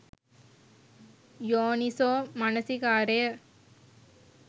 යෝනිසෝ මනසිකාරය